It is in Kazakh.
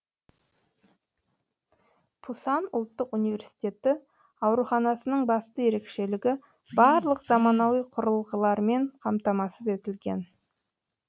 пусан ұлттық университеті ауруханасының басты ерекшелігі барлық заманауи құрылғылармен қамтамасыз етілген